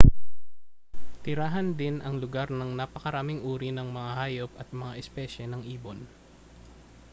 tirahan din ang lugar ng napakaraming uri ng mga hayop at mga espesye ng ibon